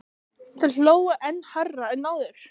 Þeir hlógu enn hærra en áður.